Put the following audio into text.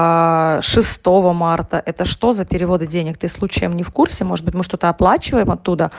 шестого марта это что за переводы денег ты случаем не в курсе может быть мы что-то оплачиваем оттуда